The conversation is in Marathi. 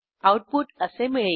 आऊटपुट असे मिळेल